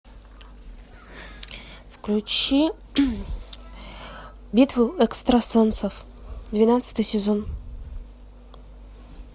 включи битву экстрасенсов двенадцатый сезон